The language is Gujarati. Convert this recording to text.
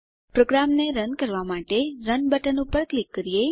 પ્રોગ્રામને રન કરવાં માટે રન બટન પર ક્લિક કરીએ